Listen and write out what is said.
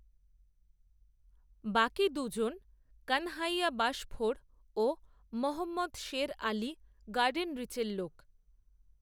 বাকি দুজন কানহাইয়া বাশফোড়, ও মহম্মদ শের, আলি, গার্ডেনরিচের লোক